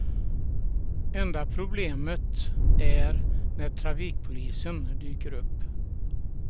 Enda problemet är när trafikpolisen dyker upp.